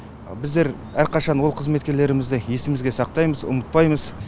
біздер әрқашан ол қызметкерлерімізді есімізге сақтаймыз ұмытпаймыз